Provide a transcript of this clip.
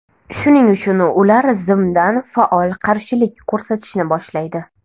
Shuning uchun ular zimdan faol qarshilik ko‘rsatishni boshlaydi.